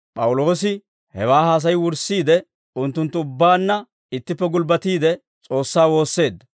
P'awuloosi hewaa haasay wurssiide, unttunttu ubbaanna ittippe gulbbatiide, S'oossaa woosseedda.